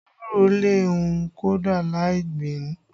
Ewúro lè hù kódà lai gbìn ín